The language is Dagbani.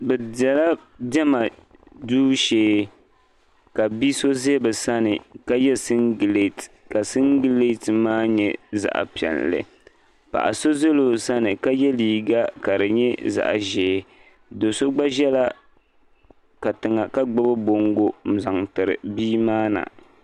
Bɛ bela diɛma duu shee ka bi' so be bɛ sani ka ye singileti ka singileti maa nyɛ zaɣ' piɛlli paɣ' so ʒi bɛ sani ka ye liiga ka di nyɛ zaɣ' ʒee do' so gba ʒela katiŋa ka gbubi bɔŋgo n-zaŋ tiri bia maa na.